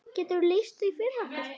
Geturðu lýst því fyrir okkur?